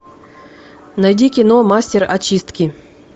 найди кино мастер очистки